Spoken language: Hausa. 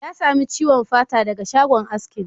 Ya sami ciwon fata daga shagon askin.